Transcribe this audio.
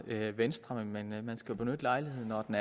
venstre men man skal benytte lejligheden når den